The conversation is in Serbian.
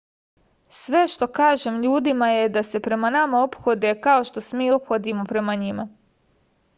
sve što kažem ljudima je da se prema nama ophode kao što se mi ophodimo prema njima